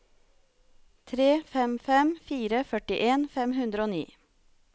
tre fem fem fire førtien fem hundre og ni